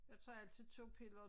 Jeg tager altid 2 piller og